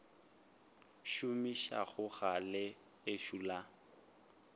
šomišago ga le ešo la